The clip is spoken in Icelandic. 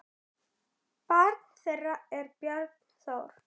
Barn þeirra er Björn Þór.